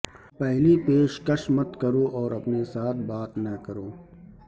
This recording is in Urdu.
پہلی پیشکش مت کرو اور اپنے ساتھ بات نہ کرو